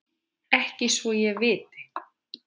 Ekki svo ég viti.